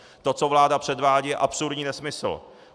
To, co vláda předvádí, je absurdní nesmysl.